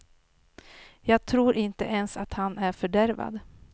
Jag tror inte ens att han är fördärvad.